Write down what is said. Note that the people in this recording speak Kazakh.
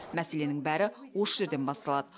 мәселенің бәрі осы жерден басталады